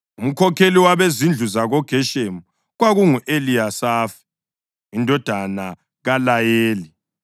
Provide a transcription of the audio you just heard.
Umkhokheli wabezindlu zabakoGeshoni kwakungu-Eliyasafi indodana kaLayeli.